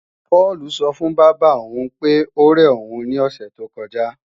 Páùlù sọ fún bábà òun pé óre òun ní òsè tó kọjá